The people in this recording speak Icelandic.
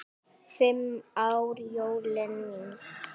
Fimm ára jólin mín.